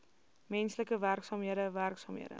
menslike werksaamhede werksaamhede